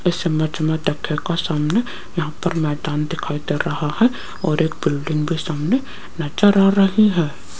इस इमेज मे देखियेगा सामने यहां पर मैदान दिखाई दे रहा है और एक बिल्डिंग भी सामने नजर आ रही है।